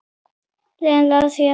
Leiðin lá því aftur á